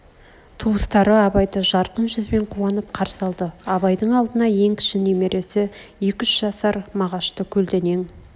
туыстары абайды жарқын жүзбен қуанып қарсы алды абайдың алдына ең кіші немересі екі-үш жасар мағашты көлденең